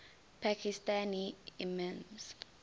pakistani imams